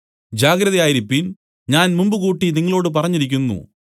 ജാഗ്രതയായിരിപ്പീൻ ഞാൻ മുമ്പുകൂട്ടി നിങ്ങളോടു പറഞ്ഞിരിക്കുന്നു